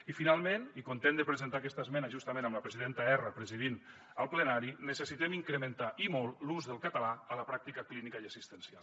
i finalment i content de presentar aquesta esmena justament amb la presidenta erra presidint el plenari necessitem incrementar i molt l’ús del català a la pràctica clínica i assistencial